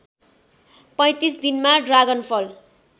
३५ दिनमा ड्रागनफल